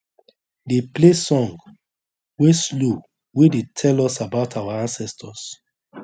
dey play song wey slow wey dey tell us about our ancestors